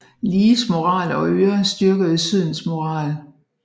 Lees øjne og ører og styrkede Sydens moral